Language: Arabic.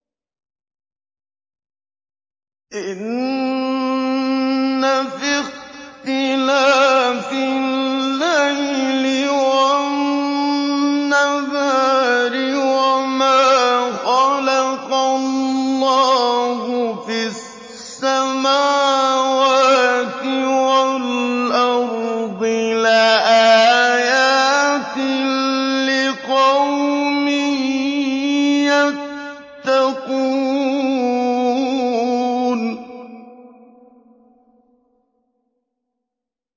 إِنَّ فِي اخْتِلَافِ اللَّيْلِ وَالنَّهَارِ وَمَا خَلَقَ اللَّهُ فِي السَّمَاوَاتِ وَالْأَرْضِ لَآيَاتٍ لِّقَوْمٍ يَتَّقُونَ